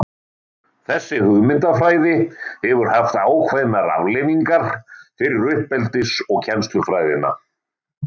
þessi hugmyndafræði hefur haft ákveðnar afleiðingar fyrir uppeldis og kennslufræðina